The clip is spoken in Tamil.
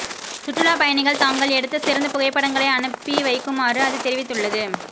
சுற்றுலாப்பயணிகள் தாங்கள் எடுத்த சிறந்த புகைப்படங்களை அனுப்பி வைக்குமாறு அது தெரிவித்துள்ளது